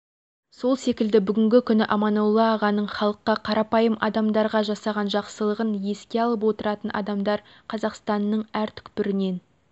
сол секілді бүгінгі күні аманолла ағаның халыққа қарапайым адамдарға жасаған жақсылығын еске алып отыратын адамдар қазақстанның әр түкпірінен